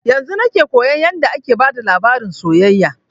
Yanzun nake koyan yarda ake bada labarin soyayya